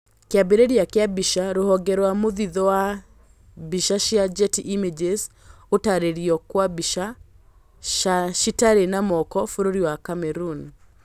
Kĩambĩrĩria kĩa mbica rũhonge rwa mũthithũ wa mbica cia Getty images, gũtarĩrio kwa mbica, cati itarĩ na moko bũrũri wa Cameroon?